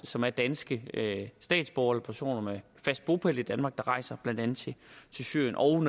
som er danske statsborgere eller personer med fast bopæl i danmark der rejser blandt andet syrien og